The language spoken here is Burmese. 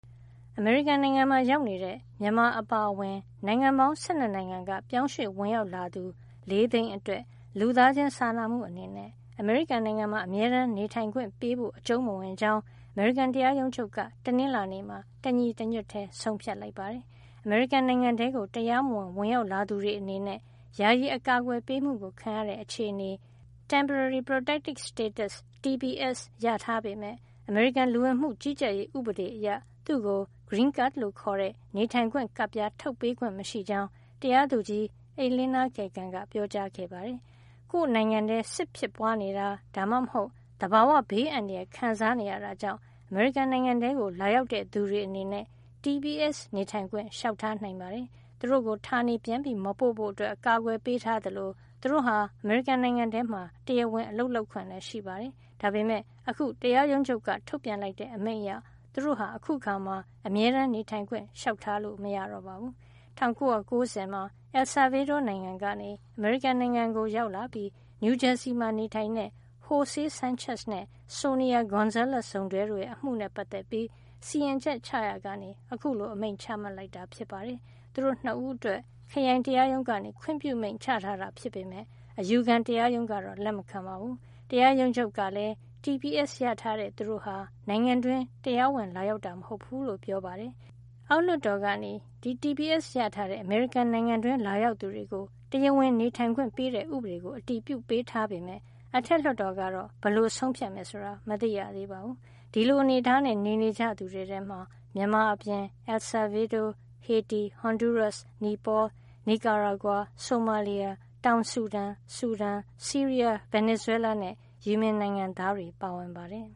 အမေရိကန်နိုင်ငံမှာ ရောက်နေတဲ့ မြန်မာအပါအဝင် နိုင်ငံပေါင်း ၁၂ နိုင်ငံက ပြောင်းရွှေ့ဝင်ရောက်လာသူ ၄ သိန်း အတွက် လူသားချင်းစာနာမှု အနေနဲ့ အမေရိကန်မှာ အမြဲတမ်းနေထိုင်ခွင့်ပေးဖို့ အကြုံးမဝင်ကြောင်း အမေရိကန်တရားရုံးချုပ်က တနင်္လာနေ့မှာ တညီတညွတ်ထည်း ဆုံးဖြတ်လိုက်ပါတယ်။ အမေရိကန်နိုင်ငံထဲကို တရားမဝင်ဝင်ရောက်လာသူတွေ အနေနဲ့ ယာယီအကာကွယ်ပေးမှု ခံရတဲ့ အခြေနေ (Temporary Protected Status) TPS ရထား ပေမယ့် အမေရိကန်လူဝင်မှုကြီးကြပ်ရေး ဥပဒေအရ သူ့ကို green cards လို့ခေါ်တဲ့ နေထိုင်ခွင့် ကပ်ပြား ထုတ်ပေးခွင့် မရှိကြောင်း တရာသူကြီး Elena Kagan က ပြောကြားခဲ့ပါတယ်။ ကိုယ့်နိုင်ငံထဲ စစ်ဖြစ်ပွားနေတာ ဒါမှမဟုတ် သဘာဝဘေးအန္တရာယ် ခံစားနေရတာကြောင့် အမေရိကန်နိုင်ငံထဲကို လာရောက်တဲ့ သူတွေ အနေနဲ့ TPS နေထိုင်ခွင့် လျှောက်ထားနိုင်ပါတယ်။ သူတို့ကို ဌာနေပြန်မပို့ဖို့ အကာကွယ်ပေးထားသလို သူတို့ဟာ အမေရိကန် နိုင်ငံထဲမှာ တရားဝင် အလုပ်လုပ်ခွင့်ရှိပါတယ်။ ဒါပေမယ့် အခု တရားရုံးချုပ်က ထုတ်ပြန်လိုက်တဲ့ အမိန့်အရ သူတို့ဟာ အခုအခါမှာ အမြဲတမ်းနေထိုင်ခွင့် လျှောက်ထားလို့ မရတော့ပါဘူး။ ၁၉၉၀ မှာ El Salvador နိုင်ငံကနေ အမေရိကန်နိုင်ငံကို ကို ရောက်လာပြီး နယူးဂျာစီမှာ နေထိုင်တဲ့ Jose Sanchez နဲ့ Sonia Gonzales စုံတွဲရဲ့ အမှုနဲ့ ပတ်သက်ပြီး စီရင်ချက်ချရာကနေ အခုလို အမိန့်ချမှတ်လိုက်တာ ဖြစ်ပါတယ်။ သူတို့ ၂ ဦးအတွက် ခရိုင်တရားရုံးက ခွင့်ပြုမိန့်ချထားတာ ဖြစ်ပေမယ့် အယူခံတရားရုံးက လက်မခံပါဘူး။ တရားရုံးချုပ်ကလည်း TSP ရထားတဲ့ သူတို့ဟာ နိုင်ငံတွင်း တရားဝင်လာရောက်တာ မဟုတ်ဘူးလို့ ပြောပါတယ်။ အောက်လွှတ်တော်က TPS ရထားတဲ့ အမေရိကန်နိုင်ငံတွင်းလာရောက်သူတွေကို တရားဝင်နေထိုင်ခွင့် ပေးတဲ့ ဥပဒေကို အတည်ပြုပေးထားပေမယ့် အထက်လွှတ်တော်ကတော့ ဘယ်လို ဆုံးဖြတ်မယ် ဆိုတာ မသိရသေးပါဘူး။ ဒီလို အနေထားနဲ့ နေနေကြတဲ့ သူတွေထဲမှာ မြန်မာအပြင် El Salvador၊ ဟေတီ၊ ဟွန်ဒူးရပ်စ်၊ နိပေါ၊ နီကာရာဂွာ၊ ဆိုမာလီယာ၊ တောင်ဆူဒန်၊ ဆူဒန်၊ ဆီးရီးယား၊ ဗင်နီဇွဲလားနဲ့ ယီမင်နိုင်ငံသားတွေပါ ပါဝင်ပါတယ်